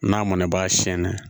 N'a mɔnɛ b'a sɛn na